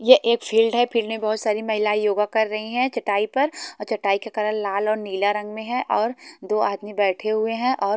ये एक फील्ड है फील्ड मे बहोत सारी महिलाएं योग कर रही हैं चटाई पर आ चटाई के कलर लाल और नीला रंग में है और दो आदमी बैठे हुए हैं और--